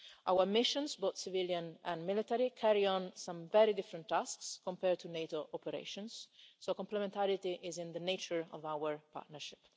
Our missions, both civilian and military, carry out some very different tasks compared to NATO operations, so complementarity is in the nature of our partnership.